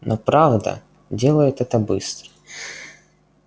но правда делает это быстро